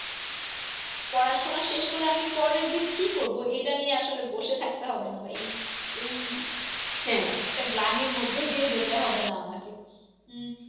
পড়াশোনা শেষ করে আমি পরের দিন কি করব। এটা নিয়ে আসলে বসে থাকতে হবে না বা এই এই হ্যাঁ একটা গ্লানির মধ্য দিয়ে যেতে হবে না আমাকে উম